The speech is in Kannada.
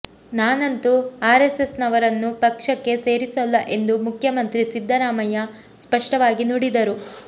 ನಾನಂತೂ ಆರೆಸ್ಸೆಸ್ನವರನ್ನು ಪಕ್ಷಕ್ಕೆ ಸೇರಿಸೋಲ್ಲ ಎಂದು ಮುಖ್ಯಮಂತ್ರಿ ಸಿದ್ದರಾಮಯ್ಯ ಸ್ಪಷ್ಟವಾಗಿ ನುಡಿದರು